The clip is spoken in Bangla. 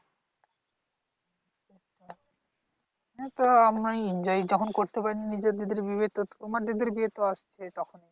এতো আমরা enjoy তখন করতে পারিনি। নিজের দিদির বিয়ে তো তোমার দিদির বিয়ে তো আসছেই তখন,